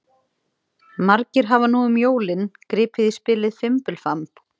Margir hafa nú um jólin gripið í spilið Fimbulfamb.